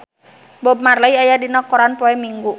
Bob Marley aya dina koran poe Minggon